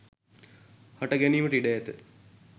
හට ගැනීමට ඉඩ ඇත